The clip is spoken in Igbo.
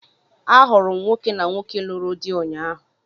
A hụrụ m nwoke na nwoke lụrụ di ụnyaahụ.